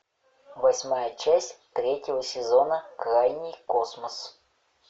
восьмая часть третьего сезона крайний космос